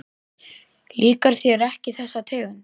Líkar þér ekki þessi tegund?